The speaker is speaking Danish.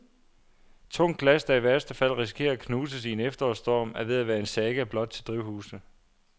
Tungt glas, der i værste fald risikerer at knuses i en efterårsstorm, er ved at være en saga blot til drivhuse.